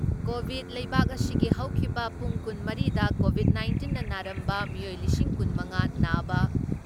Covid ꯂꯩꯕꯥꯛ ꯑꯁꯤꯒꯤ ꯍꯧꯈꯤꯕ ꯄꯨꯡ ꯀꯨꯟ ꯃꯔꯤꯗ ꯀꯣꯚꯤꯠ ꯅꯥꯏꯟꯇꯤꯟꯅ ꯅꯥꯔꯝꯕ ꯃꯤꯑꯣꯏ ꯂꯤꯁꯤꯡ ꯀꯨꯟ ꯃꯉꯥ ꯅꯥꯕ